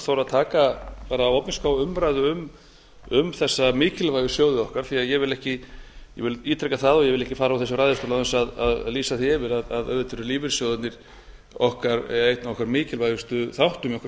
ég sagði áðan þora að taka opinskátt umræðu um þessa mikilvægu sjóði okkar því að ég vil ekki ég ítreka það og vil ekki fara úr þessum ræðustól án þess að lýsa því yfir að auðvitað eru lífeyrissjóðirnir einn af okkar mikilvægustu í okkar